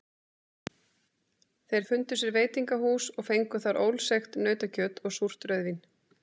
Þeir fundu sér veitingahús og fengu þar ólseigt nautakjöt og súrt rauðvín.